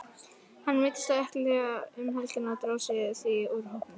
Hann meiddist á ökkla um helgina og dró sig því úr hópnum.